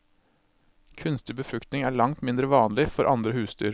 Kunstig befruktning er langt mindre vanlig for andre husdyr.